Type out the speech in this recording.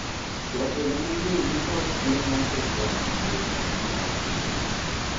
jatelo manyien nikod umma e konyo jokanyo mar riwruok